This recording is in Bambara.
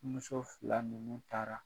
Muso fila nunnu taara